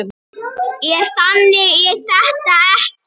En þannig er þetta ekki.